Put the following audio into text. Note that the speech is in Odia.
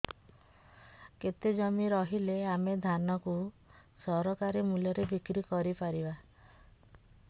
କେତେ ଜମି ରହିଲେ ଆମେ ଧାନ କୁ ସରକାରୀ ମୂଲ୍ଯରେ ବିକ୍ରି କରିପାରିବା